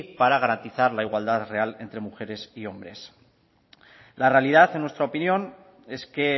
para garantizar la igualdad real entre mujeres y hombres la realidad en nuestra opinión es que